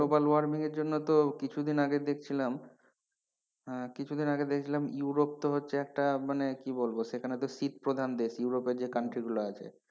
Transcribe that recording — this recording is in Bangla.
হ্যাঁ global warming এর জন্য তো কিছুদিন আগে দেখছিলাম আহ কিছুদিন আগে দেখছিলাম ইউরোপ তো হচ্ছে তো একটা মানে কি বলবো সেখানেতো শীত প্রধান দেশ ইউরোপে যে country গুলো আছে।